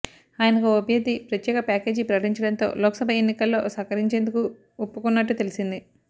ఆయనకు ఓ అభ్యర్థి ప్రత్యేక ప్యాకేజీ ప్రకటించడంతో లోక్సభ ఎన్నికల్లో సహకరించేందుకు ఒప్పుకున్నట్టు తెలిసింది